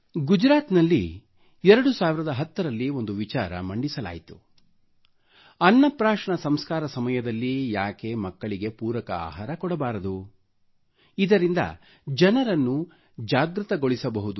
ಗುಜರಾತಿನಲ್ಲಿ 2010 ರಲ್ಲಿ ಒಂದು ವಿಚಾರ ಮಂಡಿಸಲಾಯಿತು ಅನ್ನ ಪ್ರಾಶನ ಸಂಸ್ಕಾರ ಸಮಯದಲ್ಲಿ ಯಾಕೆ ಮಕ್ಕಳಿಗೆ ಪೂರಕ ಆಹಾರ ಕೊಡಬಾರದು ಏಕೆಂದರೆ ಇದರಿಂದ ಜನರನ್ನು ಜಾಗೃತಗೊಳಿಸಬಹುದು